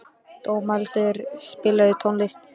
Dómaldur, spilaðu tónlist.